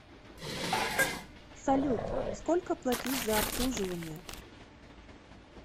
салют сколько платить за обслуживание